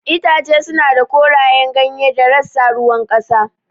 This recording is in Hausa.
Itace suna da korayen ganye da rassa ruwan ƙasa.